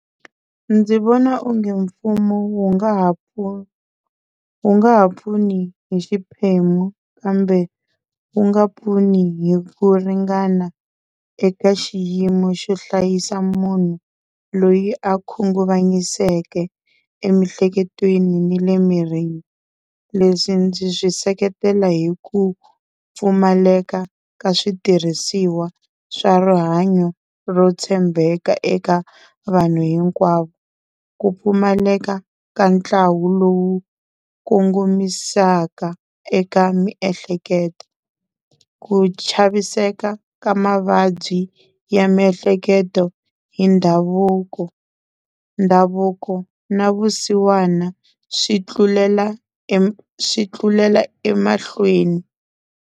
Ndzi vona onge mfumo wu nga ha wu nga ha pfuni hi xiphemu kambe wu nga pfuni hi ku ringana eka xiyimo xo hlayisa munhu loyi a khunguvanyiseke emiehleketweni ni le mirini leswi ndzi swi seketela hi ku pfumaleka ka switirhisiwa swa rihanyo ro tshembeka eka vanhu hinkwavo, ku pfumaleka ka ntlawa lowu kongomisaka eka miehleketo, ku chaviseka ka mavabyi ya miehleketo hi ndhavuko, ndhavuko na vusiwana swi tlulela swi tlulela emahlweni.